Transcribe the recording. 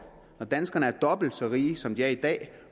når danskerne er dobbelt så rige som de er i dag